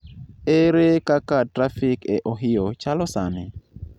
ere kaka trafik e Ohio chalo sani?